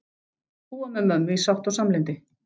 Búa með mömmu í sátt og samlyndi.